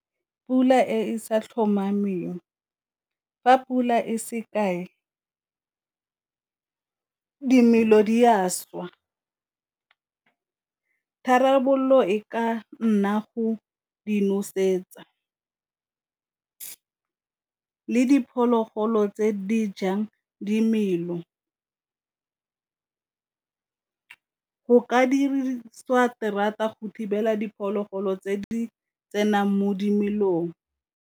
Pula e sa tlhomameng, fa pula e se kae dimelo di a šwa. Tharabololo e ka nna go di nosetsa, le diphologolo tse di jang dimelo. Go ka dirisiwa terata go thibela diphologolo tse di tsenang mo dimelong.